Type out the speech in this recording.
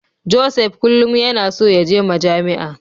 Joseph kullum yana so yaje Majami'a.